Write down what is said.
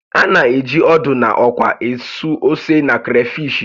A na-eji ódú na ókwá ésú ósè na karafishi